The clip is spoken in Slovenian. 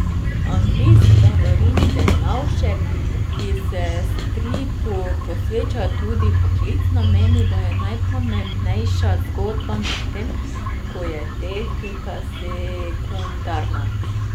Anglist Davorin Dernovšek, ki se stripu posveča tudi poklicno, meni, da je najpomembnejša zgodba, medtem ko je tehnika sekundarna.